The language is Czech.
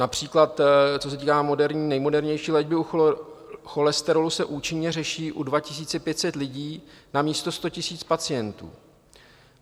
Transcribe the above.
například co se týká nejmodernější léčby u cholesterolu, se účinně řeší u 2 500 lidí namísto 100 000 pacientů.